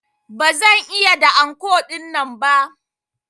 Ba zan iya da anko dinnan ba.